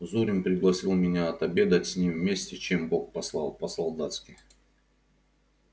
зурин пригласил меня отобедать с ним вместе чем бог послал по-солдатски